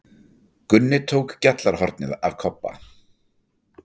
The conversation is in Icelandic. Gunni tók gjallarhornið af Kobba.